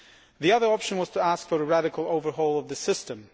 The other option was to ask for a radical overhaul of the system.